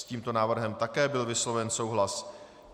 S tímto návrhem byl také vysloven souhlas.